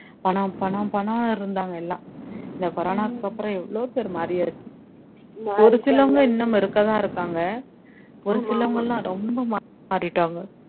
பணம் பணம் பணம்னு இருந்தாங்க எல்லாம் இந்த corona க்கு அப்பறம் எவ்வளவோ பேர் மாரியாச்சு ஒருசிலவங்க இன்னும் இருக்கதான் இருகாங்க ஒருசிலவங்க எல்லாம் ரொம்ப மாறிட்டாங்க